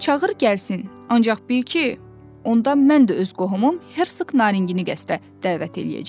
Çağır gəlsin, ancaq bil ki, onda mən də öz qohumum hersoq Narəngini qəsdə dəvət eləyəcəm.